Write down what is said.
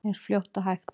Eins fljótt og hægt er.